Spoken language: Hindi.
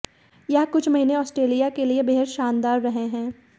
यह कुछ महीने ऑस्ट्रेलिया के लिए बेहद शानदार रहे हैं